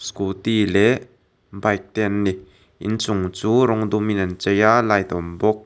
scooty leh bike te an ni inchung chu rawng dumin an chei a light a awm bawk.